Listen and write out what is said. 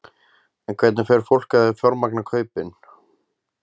En hvernig fer fólk að því að fjármagna kaupin?